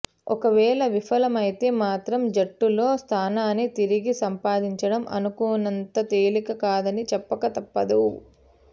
ఒకవేళ విఫలమైతే మాత్రం జట్టులో స్థానాన్ని తిరిగి సంపాదించడం అనుకున్నంత తేలిక కాదని చెప్పక తప్పదు